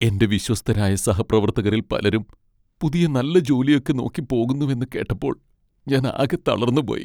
എന്റെ വിശ്വസ്തരായ സഹപ്രവർത്തകരിൽ പലരും പുതിയ നല്ല ജോലിയൊക്കെ നോക്കി പോകുന്നുവെന്ന് കേട്ടപ്പോൾ ഞാൻ ആകെ തളർന്നുപോയി.